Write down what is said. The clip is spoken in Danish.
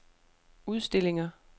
udstillinger